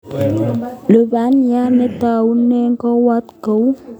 Lubaniat netaune kowot kouy